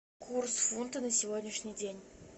курс фунта на сегодняшний день